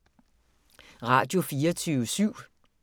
Radio24syv